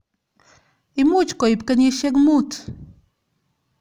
Imuch koib kenyishek mut.